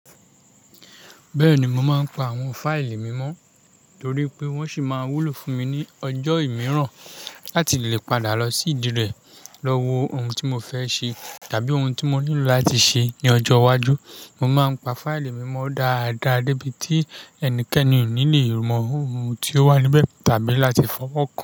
Bẹ́ẹ̀ni, mo máa ń pa àwọn fáìlì mímọ́ torí pé wọ́n sì máa wúlò fún mi ní ọjọ́ mìíràn láti lè padà lọ sí ìdí rẹ̀ lọ́wọ́ ohun tí mo fẹ́ ṣe tàbí ohun tí mo nílò láti ṣe ní ọjọ́ iwájú. Mo máa ń pa fáìlì mímọ́ dáadáa débi tí ẹnikẹ́ni ò ní lè mọ ohun tí ó wà níbẹ̀ tàbí láti fọwọ́ kàn án.